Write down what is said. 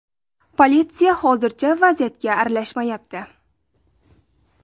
Politsiya hozircha vaziyatga aralashmayapti.